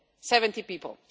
70 people.